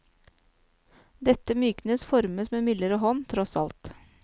Dette myknes, formes med mildere hånd, tross alt.